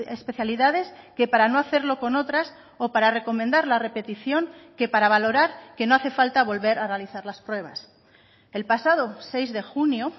especialidades que para no hacerlo con otras o para recomendar la repetición que para valorar que no hace falta volver a realizar las pruebas el pasado seis de junio